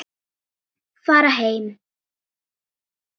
Fara heim?